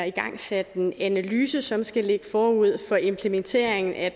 igangsat en analyse som skal ligge forud for implementeringen af